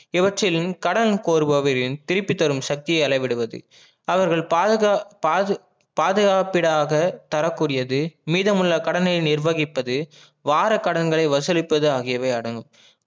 இவற்றிலும் கடன் கோருபவரின் திருப்பி தரும் சக்தியை அளவிடுவது அவர்கள் பாதுகாப்பிடாத தரக்குரியது மீதமுள்ள கடனை நிற்பகிப்பது வார கடன்களை வசூலிப்பது ஆகியவை அடங்கும்